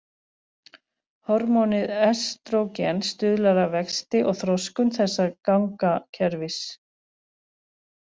Hormónið estrógen stuðlar að vexti og þroskun þessa gangakerfis.